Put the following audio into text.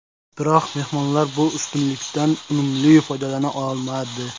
Biroq mehmonlar bu ustunlikdan unumli foydalana olmadi.